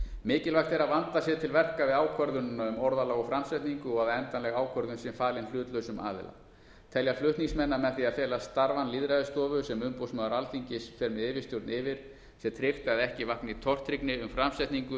mikilvægt er að vandað sé til verka við ákvörðun um orðalag og framsetningu og að endanleg ákvörðun sé falin hlutlausum aðila telja flutningsmenn að með því að fela starfann lýðræðisstofu sem umboðsmaður alþingis fer með yfirstjórn yfir sé tryggt að ekki vakni tortryggni um framsetningu